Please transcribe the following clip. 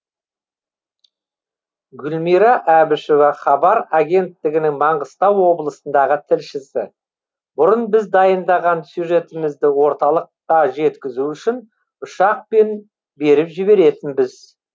гүлмира әбішева хабар агенттігінің маңғыстау облысындағы тілшісі бұрын біз дайындаған сюжетімізді орталыққа жеткізу үшін ұшақпен беріп жіберетінбіз